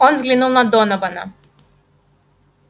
он взглянул на донована